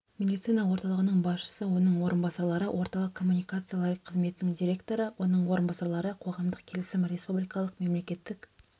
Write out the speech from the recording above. медицина орталығының басшысы оның орынбасарлары орталық коммуникациялар қызметінің директоры оның орынбасарлары қоғамдық келісім республикалық мемлекеттік